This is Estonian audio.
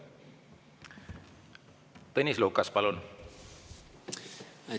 Tõnis Lukas, palun!